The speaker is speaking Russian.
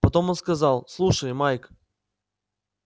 потом он сказал слушай майк